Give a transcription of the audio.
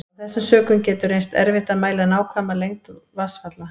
Af þessum sökum getur reynst erfitt að mæla nákvæma lengd vatnsfalla.